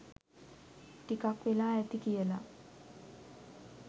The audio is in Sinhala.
ටිකක්වෙලා ඇති කියලා.